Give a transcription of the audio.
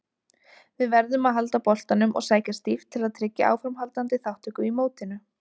Við verðum að halda boltanum og sækja stíft til að tryggja áframhaldandi þátttöku í mótinu.